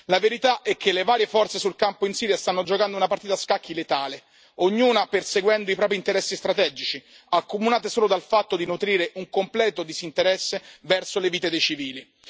La verità è che le varie forze sul campo in Siria stanno giocando una partita a scacchi letale, ognuna perseguendo i propri interessi strategici, accomunate solo dal fatto di nutrire un completo disinteresse verso le vite dei civili.